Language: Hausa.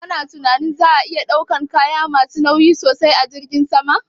Ka na tunanin za a iya ɗaukan kaya ma su nauyi sosai a jiragen sama?